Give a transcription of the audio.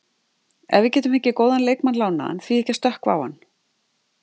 Ef við getum fengið góðan leikmann lánaðan, því ekki að stökkva á hann?